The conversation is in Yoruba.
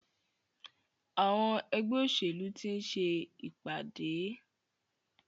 Àwọn ẹgbẹ́ òṣèlú ti ń ṣe ìpàdé.